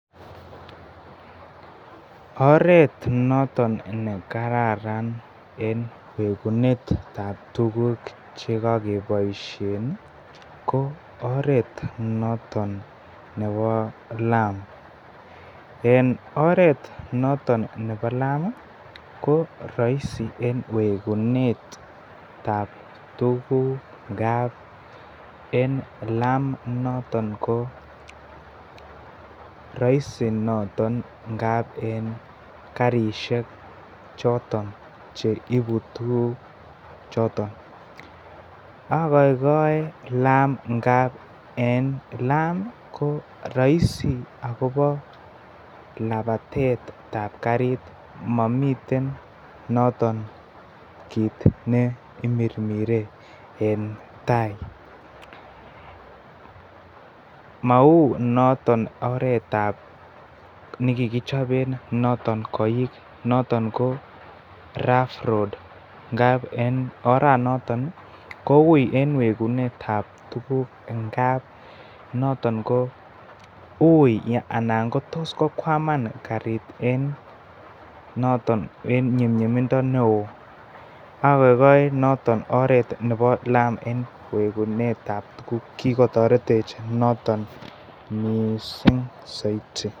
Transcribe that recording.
Oret noton nekararan en wegunetab tuguk che kokeboisien ii ko oret noton nebo laam, en oret noton nebo laam ko roisi e n wegunetab tuguk ng'ab en laam inoton ko roisi noton en karisiek choton cheibu tuguk choton, agoigoi laam amun en laam ii ko roisi akobo labatet ab karit momiten noton kiit neimirmire en tai, mounoton oret ab nikikichoben noton koik noton ko rough road ng'ab en oret noton ii koui en wegunet ab tuguk ng'ab noton ko ui anan kotos kokwaman kariit noton en ny'umny'umindo neo, agoigoi noton oret nebo nebo laam en wegunet ab tuguk, kikotoretech noton missing soiti.